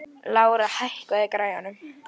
Eron, lækkaðu í hátalaranum.